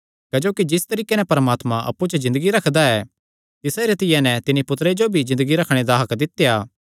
क्जोकि जिस तरीके नैं परमात्मा अप्पु च ज़िन्दगी रखदा ऐ तिसा रीतिया नैं तिन्नी पुत्तरे जो भी ज़िन्दगी रखणे दा हक्क दित्या